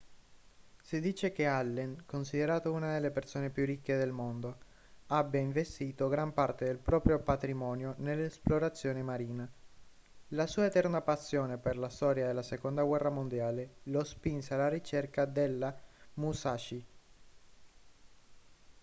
si dice che allen considerato una delle persone più ricche del mondo abbia investito gran parte del proprio patrimonio nell'esplorazione marina la sua eterna passione per la storia della seconda guerra mondiale lo spinse alla ricerca della musashi